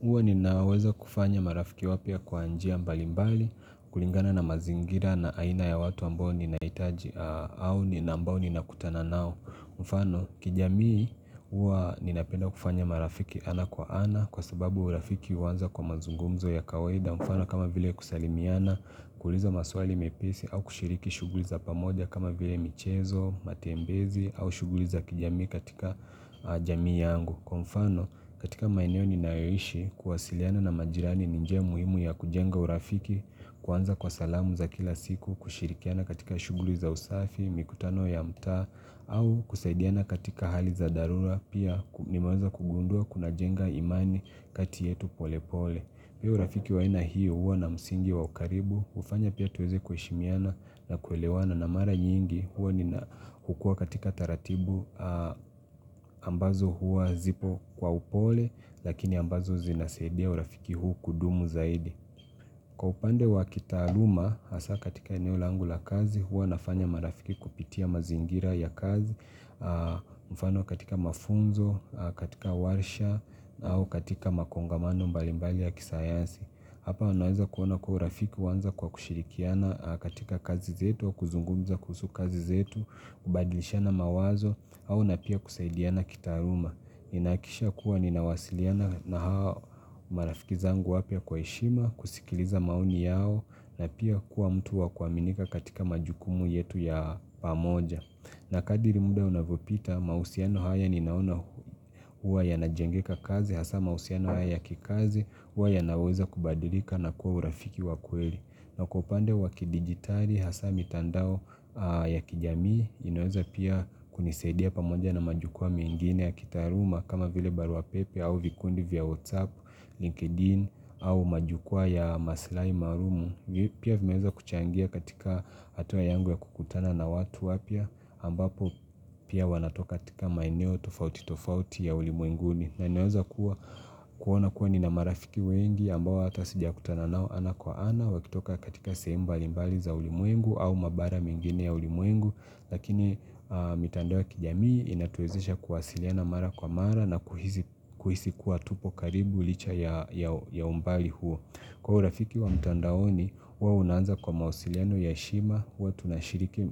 Huwa ninaweza kufanya marafiki wapya kwa njia mbalimbali kulingana na mazingira na aina ya watu ambao ninahitaji au ambao ninakutana nao mfano, kijamii huwa ninapenda kufanya marafiki ana kwa ana kwa sababu urafiki huanza kwa mazungumzo ya kawaida mfano kama vile kusalimiana, kuliza maswali mepesi au kushiriki shughuli za pamoja kama vile michezo, matembezi au shughuli za kijamii katika jamii yangu. Kwa mfano katika maeneo ninayo ishi kuwasiliana na majirani ni njia muhimu ya kujenga urafiki kuanza kwa salamu za kila siku kushirikiana katika shughuli za usafi, mikutano ya mtaa au kusaidiana katika hali za dharura pia nimeweza kugundua kunajenga imani kati yetu polepole. Pia urafiki wa aina hiyo huwa na msingi wa ukaribu, hufanya pia tuweze kuheshimiana na kuelewana na mara nyingi huwa nina hukuwa katika taratibu, ambazo huwa zipo kwa upole lakini ambazo zinasaidia urafiki huu kudumu zaidi. Kwa upande wa kitaaluma, haswaa katika eneo langu la kazi, huwa nafanya marafiki kupitia mazingira ya kazi, mfano katika mafunzo, katika warsha, au katika makongamano mbalimbali ya kisayansi. Hapa naweza kuona kwa urafiki huanza kwa kushirikiana katika kazi zetu, kuzungumza kuhusu kazi zetu, kubadilishana mawazo au napia kusaidiana kitaaluma. Nina hakikisha kuwa ninawasiliana na hao marafiki zangu wapya kwa heshima, kusikiliza maoni yao na pia kuwa mtu wa kuaminika katika majukumu yetu ya pamoja. Na kadri muda unavyopita mahusiano haya ninaona huwa yanajengeka kazi hasa mahusiano haya ya kikazi huwa yanaweza kubadilika na kuwa urafiki wa kweli. Na kwa upande wa kidigitali hasa mitandao ya kijamii inaweza pia kunisaidia pamoja na majukwaa mengine ya kitaaluma kama vile baruapepe au vikundi vya WhatsApp, LinkedIn au majukwaa ya maslahi maalum Pia vimeweza kuchangia katika hatua yangu ya kukutana na watu wapya ambapo pia wanatoka katika maeneo tofauti tofauti ya ulimwenguni na naweza kuwa kuona kuwa nina marafiki wengi ambao hata sijakutana nao ana kwa ana wakitoka katika sehemu mbalimbali za ulimwengu au mabara mengine ya ulimwengu lakini mitandao ya kijamii inatuwezesha kuwasiliana mara kwa mara na kuhisi kuwa tupo karibu licha ya ya umbali huo, kwa urafiki wa mtandaoni huo unaanza kwa mawasiliano ya heshima huwa tunashiriki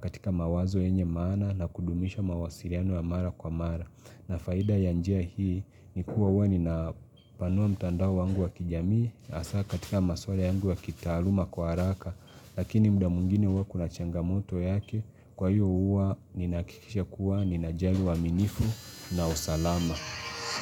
katika mawazo yenye maana na kudumisha mawasiliano ya mara kwa mara. Na faida ya njia hii ni kuwa huwa nina hupanua mtandao wangu wa kijamii hasa katika maswala yangu ya kitaaluma kwa haraka. Lakini muda mwingine huwa kuna changamoto yake, kwa hiyo huwa ninahakikisha kuwa ninajali uaminifu na usalama.